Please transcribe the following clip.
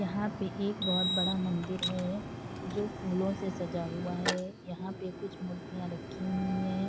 यहाँ पे एक बहोत बड़ा मंदिर है जो फूलों से सजा हुआ है यहाँ पे कुछ मूर्तियाँ रखी हुई है ।